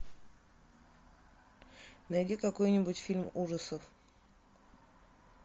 найди какой нибудь фильм ужасов